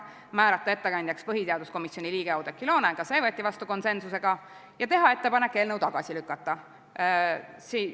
Teiseks, määrata ettekandjaks põhiseaduskomisjoni liige Oudekki Loone, ka see võeti vastu konsensusega, ja kolmandaks, teha ettepanek eelnõu tagasi lükata.